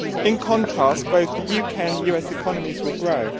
In contrast both the UK and the US economies will grow.